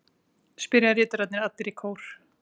spyrja ritararnir allir í kór.